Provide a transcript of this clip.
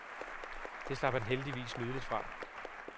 Det slap han heldigvis nydeligt fra.